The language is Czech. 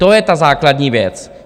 To je ta základní věc.